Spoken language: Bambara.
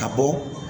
Ka bɔ